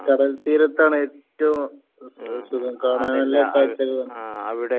കടൽ തീരത്താണ് ഏറ്റവും സുഖം കാണാൻ എല്ലാം